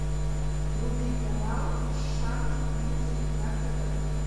вруби канал шант мьюзик на тв